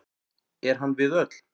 Er hann við öll.